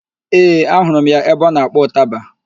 Ee, ahụrụ m ya ebe ọ na-akpọ ụtaba